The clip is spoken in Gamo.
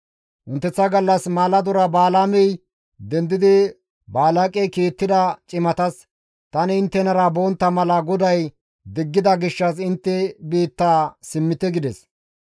Wonteththa gallas maaladora Balaamey dendidi Balaaqey kiittida cimatas, «Tani inttenara bontta mala GODAY diggida gishshas intte biitta simmite» gides.